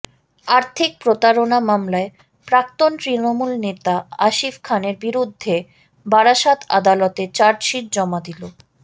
আর্থিক প্রতারণা মামলায় প্রাক্তন তৃণমূল নেতা আসিফ খানের বিরুদ্ধে বারাসত আদালতে চার্জশিট জমা দিল